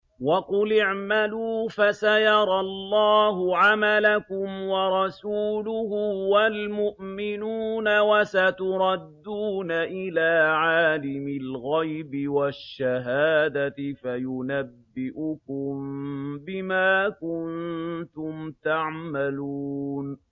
وَقُلِ اعْمَلُوا فَسَيَرَى اللَّهُ عَمَلَكُمْ وَرَسُولُهُ وَالْمُؤْمِنُونَ ۖ وَسَتُرَدُّونَ إِلَىٰ عَالِمِ الْغَيْبِ وَالشَّهَادَةِ فَيُنَبِّئُكُم بِمَا كُنتُمْ تَعْمَلُونَ